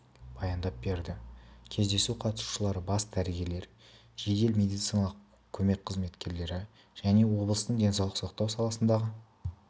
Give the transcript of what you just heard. баяндап берді кездесу қатысушылары бас дәрігерлер жедел медициналық көмек қызметкерлері және облыстың денсаулық сақтау саласындағы